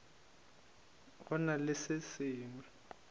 go na le se sengwe